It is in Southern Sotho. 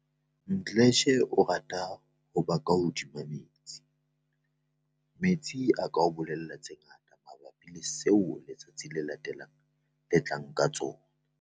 Mdletshe o rata ho ba ka hodima metsi. "Metsi a ka o bolella tse ngata mabapi le seo letsatsi le latelang le tlang ka tsona."